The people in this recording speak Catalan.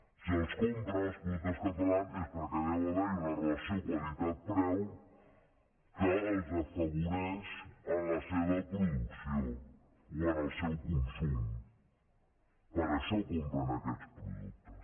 si els compren els productes catalans és perquè deu haver hi una relació qualitat preu que els afavoreix en la seva producció o en el seu consum per això compren aquests productes